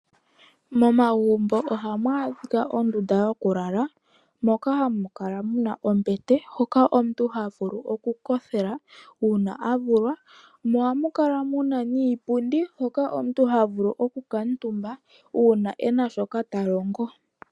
Momagumbo oha mu adhika ondunda yoku lala, moka hamu kala mu na ombete hoka omuntu ha vulu oku kothela uuna a vulwa, mo oha mu kala mu na niipundi hoka omuntu ha vulu oku kantumba, uuna e na shoka ta longo.